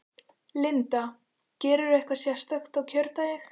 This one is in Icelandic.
Linda: Gerirðu eitthvað sérstakt á kjördag?